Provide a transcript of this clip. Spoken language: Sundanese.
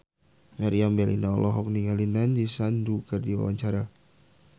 Meriam Bellina olohok ningali Nandish Sandhu keur diwawancara